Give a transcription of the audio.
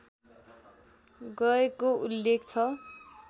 गएको उल्लेख छ